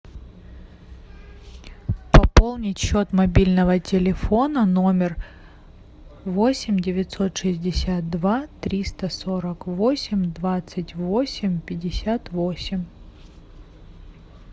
пополнить счет мобильного телефона номер восемь девятьсот шестьдесят два триста сорок восемь двадцать восемь пятьдесят восемь